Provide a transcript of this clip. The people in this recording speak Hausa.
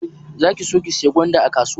Za ki so ki sayi gwanda a kasuwan?